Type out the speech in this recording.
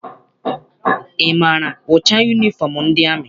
Ị maara ụcha yunifọm ndị amị?